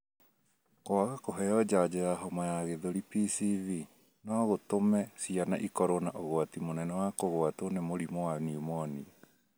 Kwaga kũheo njanjo ya homa ya gĩthũri PCV no gũtũme ciana ikorũo na ũgwati mũnene wa kũgwatwo nĩ mũrimũ wa pneumonia.